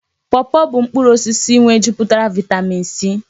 Pọpọ bụ mkpụrụ osisi nwejupụtara vaịtamịn C.